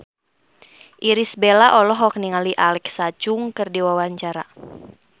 Irish Bella olohok ningali Alexa Chung keur diwawancara